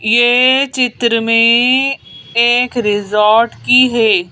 ये चित्र में एक रिजॉर्ट की है।